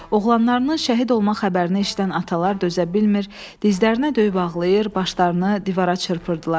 Oğlanlarının şəhid olma xəbərini eşidən atalar dözə bilmir, dizlərinə döyüb ağlayır, başlarını divara çırpırdılar.